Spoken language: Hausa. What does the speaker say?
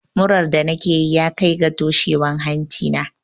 Muran da nake yi ya kai ga toshewar hanci na.